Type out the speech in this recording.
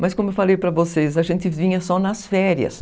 Mas como eu falei para vocês, a gente vinha só nas férias.